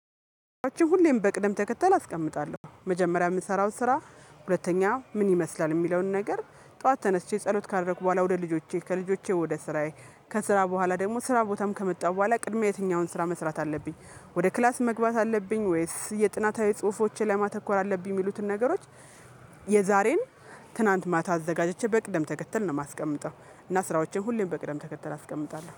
ሁሌም በቅደም ተከተል አስቀምጣለሁ መጀመሪያ የምሰራው ስራ ሁለተኛ ምን ይመስላል የሚለውን ነገር። ጠዋት ተነስቼ ጸሎት ካደረኩ በኋላ ወደ ልጆቼ ከልጆቼ ወደ ስራዬ ከስራ በኋላ ደግሞ ስራ ቦታም ከመጣሁ በኋላ ቅድሚያ የትኛውን ስራ መስራት አለብኝ። ወደ ክላስ መግባት አለብኝ ወይስ የጥናታዊ ጽሁፎችን ለማተኮር አለብኝ የሚሉትን ነገሮች። የዛሬን ትናንት ማታ አዘጋጀቼ በቅደም ተከተል ነው የማስቀምጠው። እና ስራዎቼን ሁሌም በቅደም ተከተል አስቀምጣለሁ